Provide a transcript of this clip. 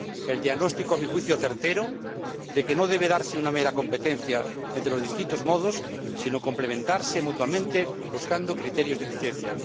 el diagnóstico a mi juicio, certero de que no debe darse una mera competencia entre los distintos modos, sino complementarse mutuamente buscando criterios de eficiencia